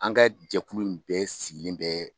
An ka jɛkulu in bɛɛ sigilen bɛɛ